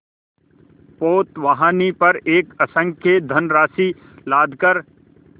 पोतवाहिनी पर असंख्य धनराशि लादकर